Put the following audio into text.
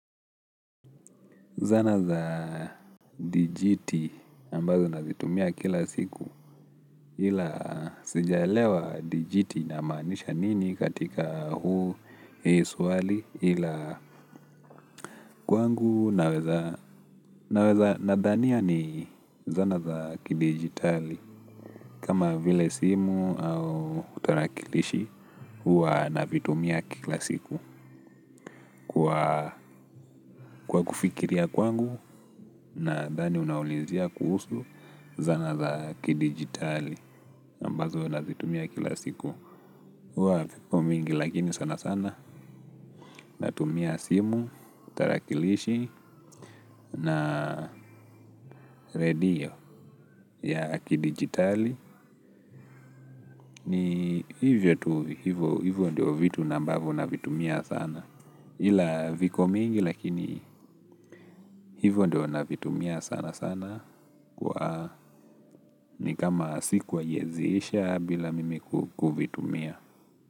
Zana za dijiti ambazo nazitumia kila siku ila sijalewa dijiti ina maanisha nini katika hii swali ila kwangu naweza nadhania ni zana za kidijitali kama vile simu au tarakilishi huwa navitumia kila siku. Kwa kufikiria kwangu, nadhani unaulizia kuhusu zana za kidijitali ambazo nazitumia kila siku huwa viko mingi lakini sana sana natumia simu, tarakilishi, na redio ya kidijitali hivyo tu, hivyo ndio vitu ambavyo navitumia sana ila viko mingi lakini hivyo ndio navitumia sana sana. Ni kama siku haiwezi isha bila mimi kuvitumia.